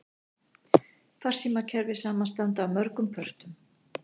Farsímakerfi samanstanda af mörgum pörtum.